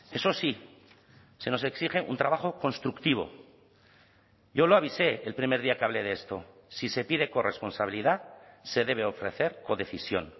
eso sí se nos exige un trabajo constructivo yo lo avisé el primer día que hablé de esto si se pide corresponsabilidad se debe ofrecer codecisión